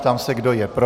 Ptám se, kdo je pro.